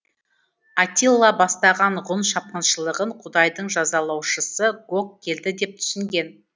атилла бастаған ғұн шапқыншылығын құдайдың жазалаушысы гог келді деп түсінген